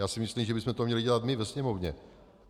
Já si myslím, že bychom to měli dělat my ve Sněmovně.